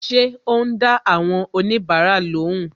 Ṣé o n da awon onibara lóhùn